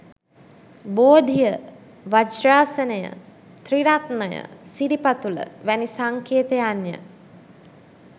බෝධිය, වජ්‍රාසනය, ත්‍රිරත්නය, සිරිපතුල වැනි සංකේතයන් ය.